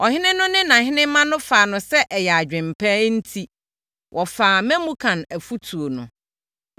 Ɔhene no ne nʼahenemma no faa no sɛ ɛyɛ adwene pa enti, wɔfaa Memukan afotuo no.